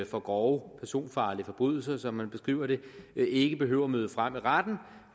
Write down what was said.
for grove personfarlige forbrydelser som man beskriver det ikke behøver at møde frem i retten